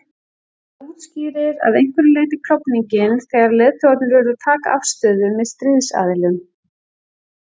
Það útskýrir að einhverju leyti klofninginn þegar leiðtogarnir urðu að taka afstöðu með stríðsaðilum.